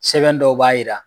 Sɛbɛn dɔw b'a yira.